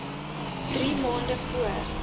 drie maande voor